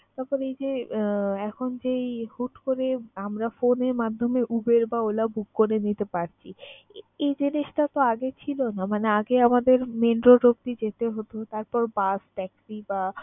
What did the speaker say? তারপর এই যে আহ এখন হুট করে আমরা phone এর মাধ্যমে UBER বা OLA book করে নিতে পারছি, এই জিনিসটাতো আগে ছিল না। মানে আগে আমাদের main road অবধি যেতে হতো তারপর bus, taxi বা